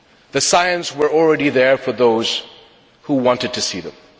The signs were already there for those who wanted to see them.